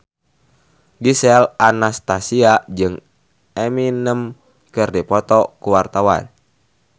Gisel Anastasia jeung Eminem keur dipoto ku wartawan